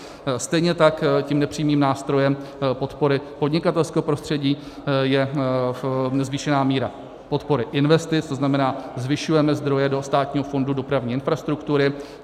Stejně tak tím nepřímým nástrojem podpory podnikatelského prostředí je zvýšená míra podpory investic, to znamená, zvyšujeme zdroje do Státního fondu dopravní infrastruktury.